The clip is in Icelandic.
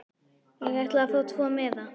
Ég ætla að fá tvo miða.